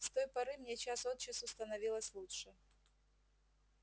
с той поры мне час от часу становилось лучше